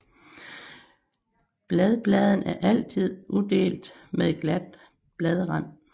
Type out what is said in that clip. Bladpladen er altid udelt med glat bladrand